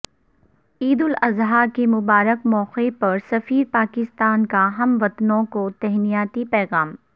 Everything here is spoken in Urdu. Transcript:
عید الاضحی کے مبارک موقع پر سفیر پاکستان کا ہموطنوں کو تہنیتی پیغام